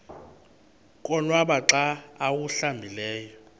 konwaba xa awuhlambileyo